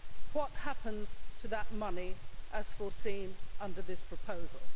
what happens to that money as foreseen under this proposal?